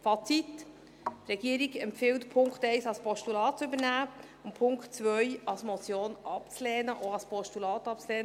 Fazit: Die Regierung empfiehlt, den Punkt 1 als Postulat zu übernehmen und den Punkt 2 als Motion und auch als Postulat abzulehnen.